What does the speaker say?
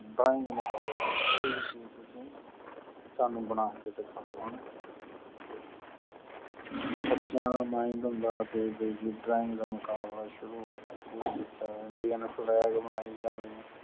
drawing ਮੁਕਾਬਤਲਾ ਵੀ ਸ਼ੁਰੂ ਹੋਗਿਆ ਵੀ ਕੋਈ ਵੀ ਕੋਈ ਵੀ ਚੀਜ ਤੁਸੀਂ ਸਾਨੂ ਬਣਾ ਕ ਦਿਖਾਓ ਹਣਾ ਤੇ ਬਚਿਆ ਦਾ mind ਹੁੰਦਾ ਕੇ drawing ਮੁਕਾਬਲਾ ਸ਼ੁਰੂ ਹੋਗਿਆ ਕੋਈ ਬਚਾ indian flag ਬਣਾਈ ਜਾਵੇ